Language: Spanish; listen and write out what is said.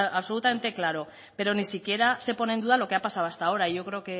absolutamente claro pero ni siquiera se pone en duda lo que ha pasado hasta ahora yo creo